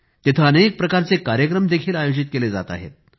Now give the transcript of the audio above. तिथे अनेक प्रकारचे कार्यक्रम देखील आयोजित केले जात आहेत